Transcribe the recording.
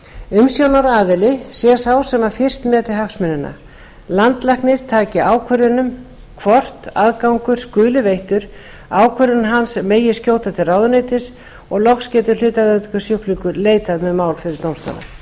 umsjónaraðili sé sá sem fyrst meti hagsmunina landlæknir taki ákvörðun um hvort aðgangur skuli veittur ákvörðunum hans megi skjóta til ráðuneytisins og loks geti hlutaðeigandi sjúklingar leitað með mál fyrir dómstóla nefndin ræddi